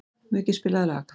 Muggi, spilaðu lag.